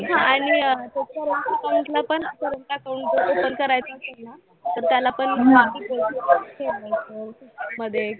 आणि अं ते current account ला पण current account कसं open करायचं असेल ना तर त्याला पण मध्ये